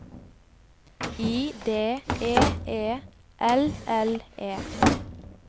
I D E E L L E